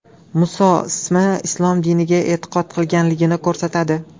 Muso ismi u islom diniga e’tiqod qilganligini ko‘rsatadi.